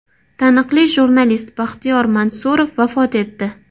Taniqli jurnalist Baxtiyor Mansurov vafot etdi.